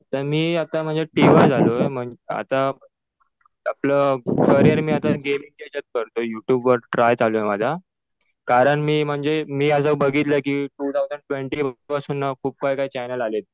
तर मी आता म्हणजे टि वाय झालोय. आता आपलं करियर मी आता गेमिंगच्या याच्यात करतोय. यु ट्युब वर ट्राय चालू आहे माझा. कारण मी म्हणजे मी असं बघितलंय कि टु थाउजंड ट्वेन्टी पासून ना खूप काही काही चॅनल आलेत.